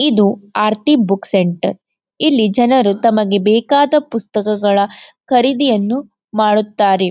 ಇದು Aarti book centre ಇಲ್ಲಿ ಜನರು ತಮಗೆ ಬೇಕಾದ ಪುಸ್ತಕಗಳ ಖರೀದಿಯನ್ನು ಮಾಡುತ್ತಾರೆ.